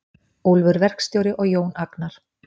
Úlfur verkstjóri og Jón Agnar.